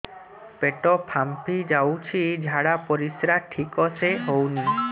ପେଟ ଫାମ୍ପି ଯାଉଛି ଝାଡ଼ା ପରିସ୍ରା ଠିକ ସେ ହଉନି